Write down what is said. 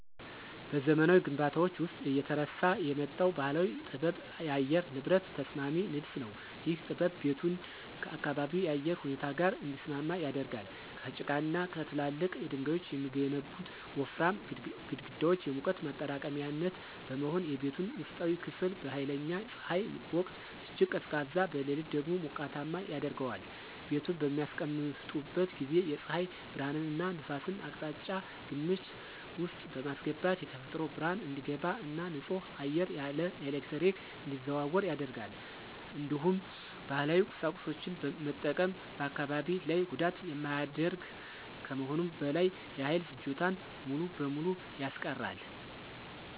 በዘመናዊ ግንባታዎች ውስጥ እየተረሳ የመጣው ባህላዊ ጥበብ የአየር ንብረት ተስማሚ ንድፍ ነው። ይህ ጥበብ ቤቱን ከአካባቢው የአየር ሁኔታ ጋር እንዲስማማ ያደርጋል። ከጭቃና ከትላልቅ ድንጋዮች የሚገነቡት ወፍራም ግድግዳዎች የሙቀት ማጠራቀሚያነት በመሆን፣ የቤቱን ውስጣዊ ክፍል በኃይለኛ ፀሐይ ወቅት እጅግ ቀዝቃዛ፣ በሌሊት ደግሞ ሞቃታማ ያደርገዋል። ቤቱን በሚያስቀምጡበት ጊዜ የፀሐይ ብርሃንንና ነፋስን አቅጣጫ ግምት ውስጥ በማስገባት የተፈጥሮ ብርሃን እንዲገባ እና ንጹህ አየር ያለ ኤሌክትሪክ እንዲዘዋወር ያደርጋል። እንዲሁም ባህላዊ ቁሳቁሶችን መጠቀም በአካባቢ ላይ ጉዳት የማያደርግ ከመሆኑም በላይ የኃይል ፍጆታን ሙሉ በሙሉ ያስቀራል።